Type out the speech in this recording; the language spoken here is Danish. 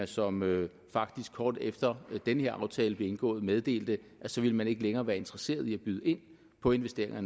som faktisk kort efter den her aftale blev indgået meddelte at så ville man ikke længere være interesseret i at byde ind på investeringer